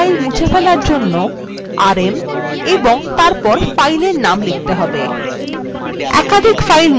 একটি file মুছে ফেলার জন্য rm এবং তারপর file name লিখতে হবে